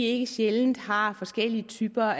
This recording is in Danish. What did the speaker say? ikke sjældent har forskellige typer